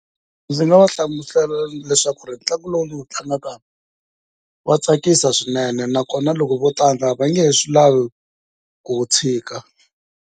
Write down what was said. Ndzi nga va hlamusela leswaku ntlangu lowu ndzi wu tlangaka wa tsakisa swinene nakona loko vo tlanga va nge he swi lavi ku wu tshika.